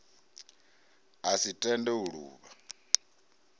a si tende u luvha